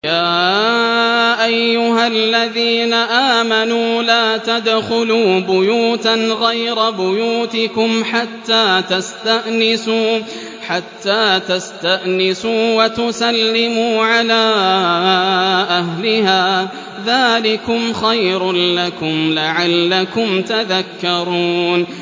يَا أَيُّهَا الَّذِينَ آمَنُوا لَا تَدْخُلُوا بُيُوتًا غَيْرَ بُيُوتِكُمْ حَتَّىٰ تَسْتَأْنِسُوا وَتُسَلِّمُوا عَلَىٰ أَهْلِهَا ۚ ذَٰلِكُمْ خَيْرٌ لَّكُمْ لَعَلَّكُمْ تَذَكَّرُونَ